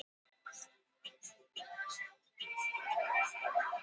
Jökulrákaðar klappir í Fossvogi skammt innan við Nauthólsvík.